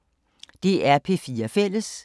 DR P4 Fælles